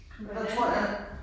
Hvordan øh